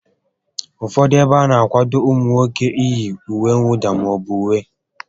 Ụfọdụ ébo ana akwado ụmụ nwoke iyi ùwé mwụda maọbụ uwe